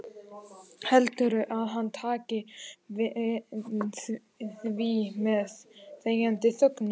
Heldurðu að hann taki því með þegjandi þögninni?